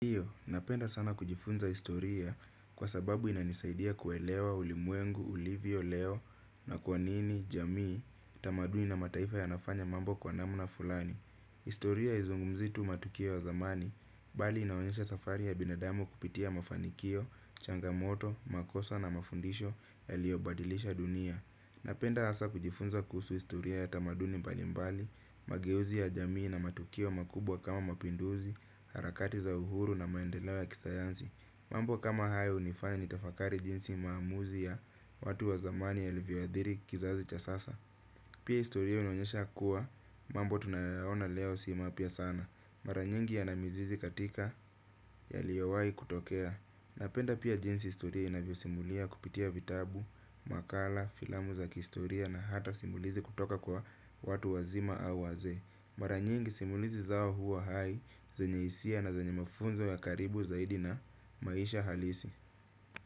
Napenda sana kujifunza historia kwa sababu inanisaidia kuelewa ulimwengu, ulivyo, leo na kwa nini, jamii, tamaduni na mataifa yanafanya mambo kwa namna fulani. Historia izungumzii tu matukio ya zamani, bali inaonyesha safari ya binadamu kupitia mafanikio, changamoto, makosa na mafundisho yaliobadilisha dunia. Napenda hasa kujifunza kuhusu historia ya tamaduni mbali mbali, mageuzi ya jamii na matukio makubwa kama mapinduzi, harakati za uhuru na maendeleo ya kisayansi. Mambo kama hayo unifanya nitafakari jinsi maamuzi ya watu wa zamani yalivyo athiri kizazi cha sasa. Pia istoria inaonyesha kuwa, mambo tunayoyaona leo si mapya sana. Maranyingi yana mizizi katika yaliyowai kutokea. Napenda pia jinsi historia inavyo simulia kupitia vitabu, makala, filamu za kihistoria na hata simulizi kutoka kwa watu wazima au wazee. Maranyingi simulizi zao huwa hai, zanye hisia na zenye mafunzo ya karibu zaidi na maisha halisi.